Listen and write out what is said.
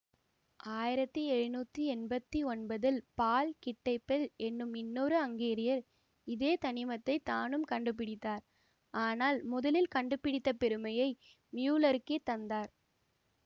ஆயிரத்தி எழுநூற்றி எம்பத்தி ஒன்பதில் கிட்டைபெல் என்னும் இன்னொரு அங்கேரியர் இதே தனிமத்தை தானும் கண்டுபிடித்தார் ஆனால் முதலில் கண்டுபிடித்தப் பெருமையை மியுல்லருக்கே தந்தார்